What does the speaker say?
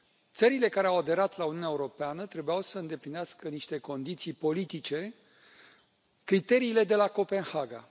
Țările care au aderat la Uniunea Europeană trebuiau să îndeplinească niște condiții politice criteriile de la Copenhaga.